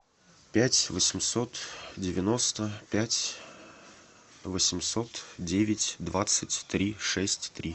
пять восемьсот девяносто пять восемьсот девять двадцать три шесть три